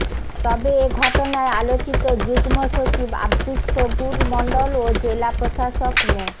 তবে এ ঘটনায় আলোচিত যুগ্ম সচিব আব্দুস সবুর মন্ডল ও জেলা প্রশাসক মো